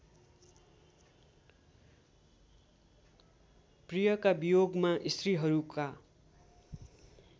प्रियका वियोगमा स्त्रीहरूका